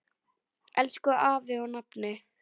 Elsku afi og nafni.